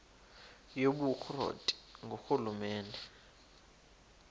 yobukro ti ngurhulumente